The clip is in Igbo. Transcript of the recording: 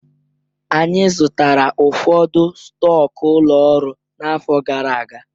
Anyị zụtara ụfọdụ stọkụ ụlọ ọrụ n'afọ gara aga.